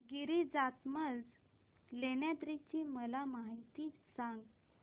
गिरिजात्मज लेण्याद्री ची मला माहिती सांग